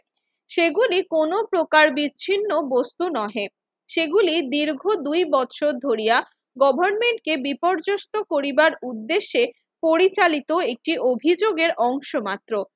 সেগুলি কোনো প্রকার বিচ্ছিন্ন বস্তু নহে। সেগুলি দীর্ঘ দুই বছর ধরিয়া গভর্নমেন্টকে বিপর্যস্ত করিবার উদ্দেশ্যে পরিচালিত একটি অভিযোগের অংশ মাত্র।